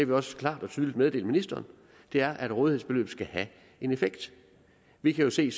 vi også klart og tydeligt meddelt ministeren og det er at rådighedsbeløbet skal have en effekt vi kan jo se